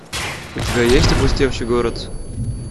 у тебя есть опустевший город